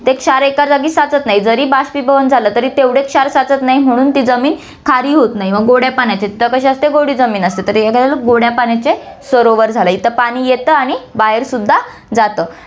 ते क्षार एका जागी साचत नाही, जरी बाष्पीभवन झालं, तरी तेवढे क्षार साचत नाही म्हणून ती जमीन खारी होतं नाही, मग गोड्या पाण्यात तेव्हा कशी असते गोडी जमीन असते, तर गोड्या पाण्याचे सरोवर झालं, इथं पाणी येतं आणि बाहेर सुद्धा जातं.